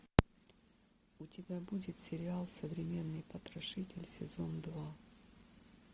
у тебя будет сериал современный потрошитель сезон два